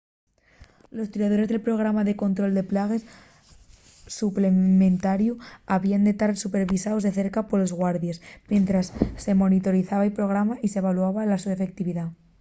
los tiradores del programa de control de plagues suplementariu habíen de tar supervisaos de cerca polos guardies mientres se monitorizaba’l programa y s’evaluaba la so efectividá